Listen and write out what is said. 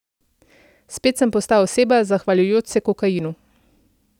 Spet sem postal oseba, zahvaljujoč se kokainu.